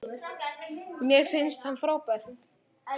Mér finnst hann frábær.